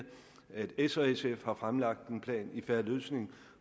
at s og sf har fremlagt en plan i en fair løsning